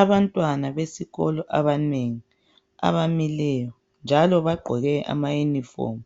abantwana besikolo abanengi abamileyonjalo bagqoke ama uniform